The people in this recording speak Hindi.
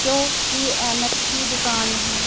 जो कि ऐनक की दुकान है।